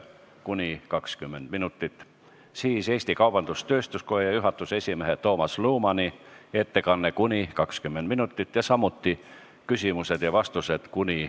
Siis on Eesti Kaubandus-Tööstuskoja juhatuse esimehe Toomas Lumani ettekanne ja küsimused ja vastused .